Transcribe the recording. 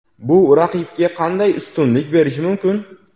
Bu raqibga qanday ustunlik berishi mumkin?